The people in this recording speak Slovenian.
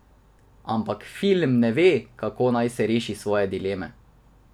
Ampak film ne ve, kako naj reši svoje dileme.